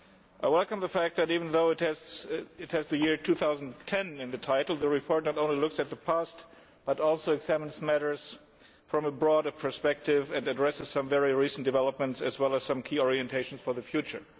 We welcome the fact that even though the report has the year 2010 in the title, it not only looks at the past but also examines matters from a broader perspective and addresses some very recent developments, as well as some key orientations for the future.